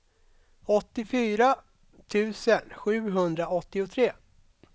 åttiofyra tusen sjuhundraåttiotre